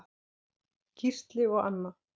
Gísli og Anna.